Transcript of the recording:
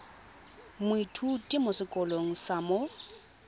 moithuti mo sekolong sa mo